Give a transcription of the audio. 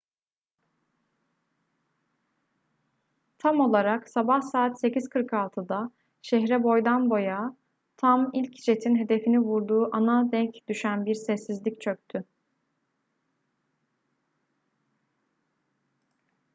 tam olarak sabah saat 8:46'da şehre boydan boya tam ilk jetin hedefini vurduğu ana denk düşen bir sessizlik çöktü